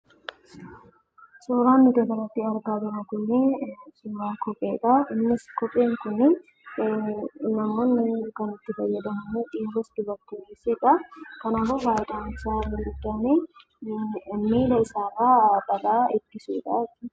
Suuraan nuti asii gaditti argaa jirummoo kopheedha. Innis kopheen kun dhiironni kan itti fayyadamanidha. Kanaafuu faayidaan isaammoo miila isaarraa balaa ittisuudha jechuudha.